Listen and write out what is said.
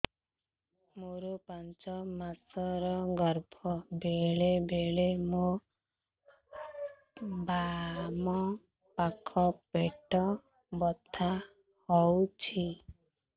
ମୋର ପାଞ୍ଚ ମାସ ର ଗର୍ଭ ବେଳେ ବେଳେ ମୋ ବାମ ପାଖ ପେଟ ବଥା ହଉଛି